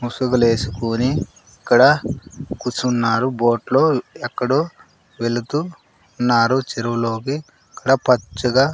ముసుగులేసుకుని ఇక్కడ కూర్చున్నారు బోట్ లో ఎక్కడో వెళుతూ ఉన్నారు చెరువులోకి ఇకడా పచ్చగా.